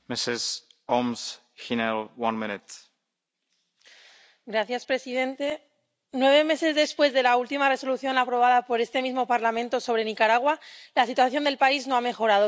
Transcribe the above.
Señor presidente, nueve meses después de la última Resolución aprobada por este mismo Parlamento sobre Nicaragua, la situación del país no ha mejorado, sino todo lo contrario.